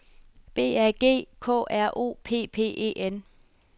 B A G K R O P P E N